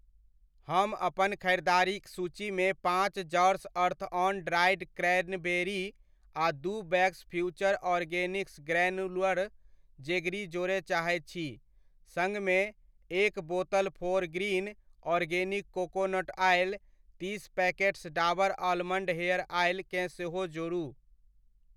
हम अपन ख़रीदारिक सूचीमे पाँच जार्स अर्थऑन ड्राइड क्रैनबेरी आ दू bags Future Organics granular jaggery जोड़य चाहैत छी सङ्ग मे, एक बोतल फोरग्रीन ऑर्गेनिक कोकोनट ऑइल , तीस packets Dabur almond hair oil केँ सेहो जोड़ू।